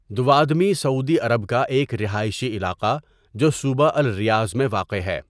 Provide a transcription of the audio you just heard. Dawadmi سعودی عرب کا ایک رہائشی علاقہ جو صوبہ الریاض میں واقع ہے.